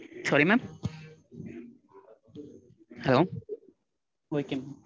Sorry mam. Hello okay mam.